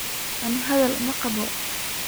Aniga hadhal maqabo.